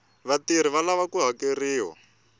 vatirhi va lava ku hakeriwa